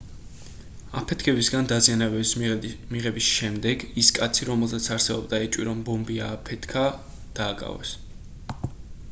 აფეთქებისგან დაზიანებების მიღების შემდეგ ის კაცი რომელზეც არსებობდა ეჭვი რომ ბომბი ააფეთქება დააკავეს